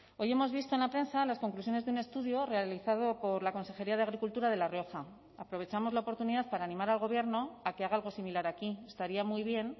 hoy hemos visto en la prensa las conclusiones de un estudio realizado por la consejería de agricultura de la rioja aprovechamos la oportunidad para animar al gobierno a que haga algo similar aquí estaría muy bien